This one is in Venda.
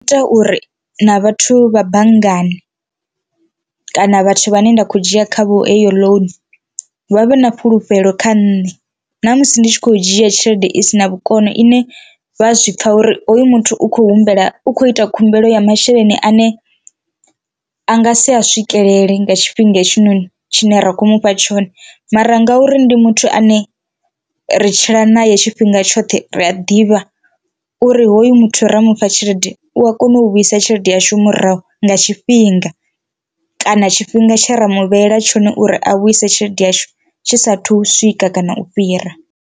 Ita uri na vhathu vha banngani kana vhathu vha ne nda khou dzhia khavho heyo ḽounu vha vhe na fhulufhelo kha nṋe na musi ndi tshi khou dzhia tshelede isina vhukono ine vha zwipfha uri hoyu muthu u khou humbela u kho ita khumbelo ya masheleni ane anga si a swikelele nga tshifhinga hetshinoni tshine ra kho mufha tshone, mara ngauri ndi muthu ane a ri tshila nae tshifhinga tshoṱhe ri a ḓivha uri hoyu muthu ra mufha tshelede u a kona u vhuisa tshelede yashu murahu nga tshifhinga, kana tshifhinga tshe ra mugivhela tshone uri a vhuise tshelede yashu tshi sathu swika kana u fhira.